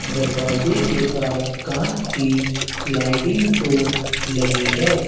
दरवाजे के पास कांच की स्लाइडिंग डोर लगी है।